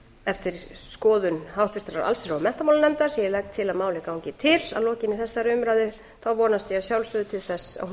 eftir skoðun háttvirtrar allsherjar og menntamálanefndar sem ég legg til að málið gangi til að lokinni þessari umræðu þá vonast ég að sjálfsögðu til þess að hún